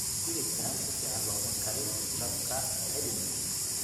hilibkan si fiican looma karin dabka kuceli